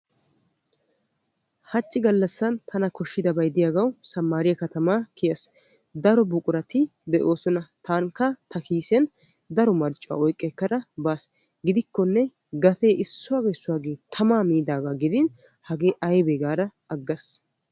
hachchi gallassan tana koshshiyaabay diyagawu sammaariya katamaa kiyas. daro buqurati doosona. tankka ta kiisiyan daro marccuwa oyikka ekkada baas. gidikkonne gate issuwagee issuwage tamaa miidagaa gidin hagee ayibee gaada aggas.